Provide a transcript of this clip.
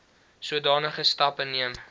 sodanige stappe neem